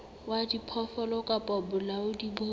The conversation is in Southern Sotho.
wa diphoofolo kapa bolaodi bo